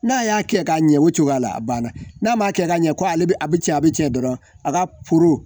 N'a y'a kɛ ka ɲɛ o cogoya la a banna n'a ma kɛ ka ɲɛ ko ale bɛ cɛ a bɛ cɛ dɔrɔn a ka